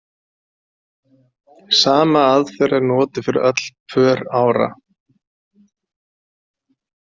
Sama aðferð er notuð fyrir öll pör ára.